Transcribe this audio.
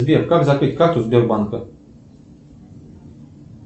сбер как закрыть карту сбербанка